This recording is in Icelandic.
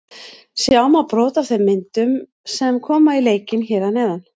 Sjá má brot af þeim myndum sem koma í leikinn hér að neðan.